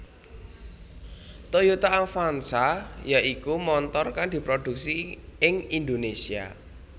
Toyota Avanza ya iku montor kang diprodhuksi ing Indonésia